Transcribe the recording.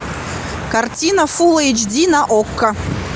картина фул эйч ди на окко